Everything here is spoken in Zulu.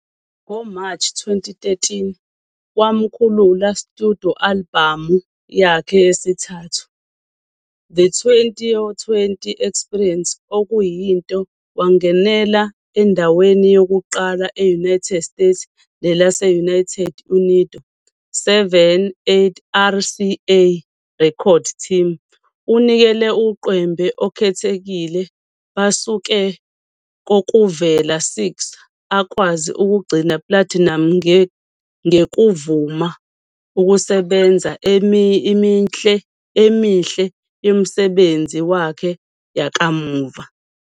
Ngo-March 2013 wamkhulula studio albhamu yakhe yesithathu, The 20 or 20 Experience, okuyinto wangenela endaweni yokuqala e-United States nelase-United Unido.7 8 RCA Records team unikele uqwembe okhethekile basuke kokuvela 6 akwazi ukugcina platinum ngekuvuma ukusebenza emihle yomsebenzi wakhe yakamuva.